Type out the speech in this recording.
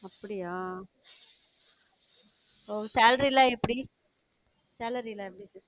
அப்படியா? ஒ salary ல்லாம் எப்டி salary எல்லாம் எப்டி